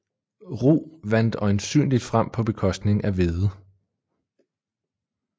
Rug vandt øjensynligt frem på bekostning af hvede